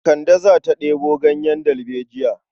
Kande za ta ɗebo ganyen dalbejiya.